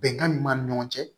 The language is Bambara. Bɛnkan min b'an ni ɲɔgɔn cɛ